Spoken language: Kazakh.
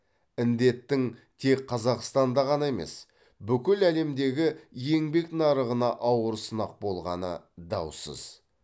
індеттің тек қазақстанда ғана емес бүкіл әлемдегі еңбек нарығына ауыр сынақ болғаны даусыз